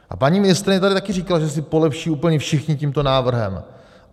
A paní ministryně tady taky říkala, že si polepší úplně všichni tímto návrhem.